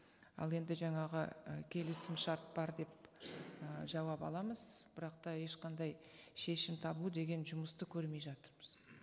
ал енді жаңағы ы келісімшарт бар деп ы жауап аламыз бірақ та ешқандай шешім табу деген жұмысты көрмей жатырмыз